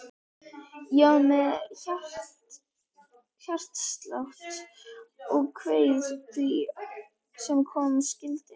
Ég var með hjartslátt og kveið því sem koma skyldi.